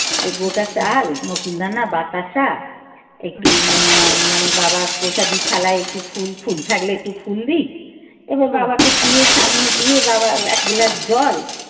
এ গোটা চাল নকুল দানা বাতাসা একটু মা মানে বাবার প্রসাদের থালায় একটু ফুল ফুল থাকলে একটু ফুল দিই এবার বাবাকে দিয়ে সামনে বাবার এক glass জল